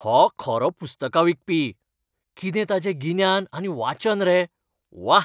हो खरो पुस्तकां विकपी. कितें ताचें गिन्यान आनी वाचन रे. व्वा!